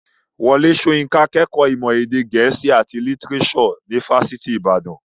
Wọlé Soyinka kẹ́kọ̀ọ́ ìmọ̀ èdè gẹ̀ẹ́sì àti lítírésò ní fásitì ìbàdàn.